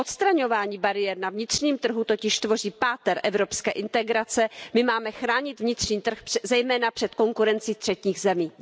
Odstraňování bariér na vnitřním trhu totiž tvoří páteř evropské integrace, my máme chránit vnitřní trh, zejména před konkurencí třetích zemí.